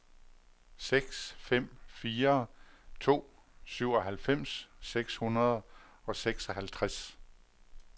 seks fem fire to syvoghalvfems seks hundrede og seksoghalvtreds